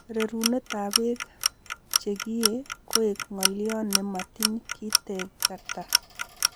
Rerunetab bek che kieei koek ng'olyo ne matiny kitegta.